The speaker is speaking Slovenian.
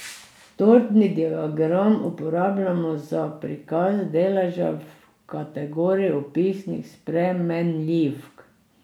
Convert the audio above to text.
Tortni diagram uporabljamo za prikaz deležev kategorij opisnih spremenljivk.